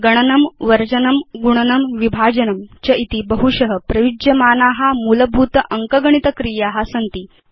गणनं वर्जनं गुणनं विभाजनं च इति बहुश प्रयुज्यमाना मूलभूत अङ्कगणित क्रिया सन्ति